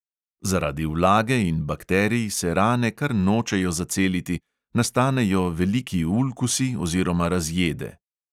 Zaradi vlage in bakterij se rane kar nočejo zaceliti, nastanejo veliki ulkusi oziroma razjede.